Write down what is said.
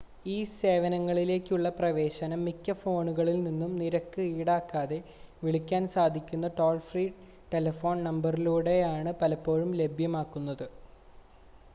ഈ സേവനങ്ങളിലേക്കുള്ള പ്രവേശനം മിക്ക ഫോണുകളിൽ നിന്നും നിരക്ക് ഈടാക്കാതെ വിളിക്കാൻ സാധിക്കുന്ന ടോൾ ഫ്രീ ടെലിഫോൺ നമ്പറിലൂടെയാണ് പലപ്പോഴും ലഭ്യമാകുന്നത്